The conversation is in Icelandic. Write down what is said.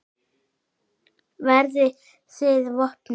Verðið þið vopnuð?